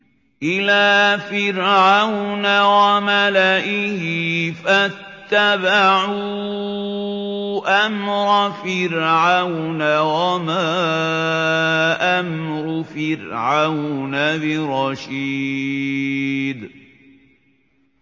إِلَىٰ فِرْعَوْنَ وَمَلَئِهِ فَاتَّبَعُوا أَمْرَ فِرْعَوْنَ ۖ وَمَا أَمْرُ فِرْعَوْنَ بِرَشِيدٍ